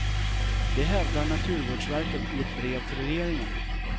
Det hävdar naturvårdsverket i ett brev till regeringen.